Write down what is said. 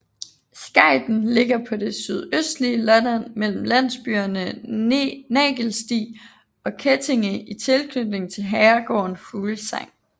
Skejten ligger på det sydøstlige Lolland mellem landsbyerne Nagelsti og Kettinge i tilknytning til herregården Fuglsang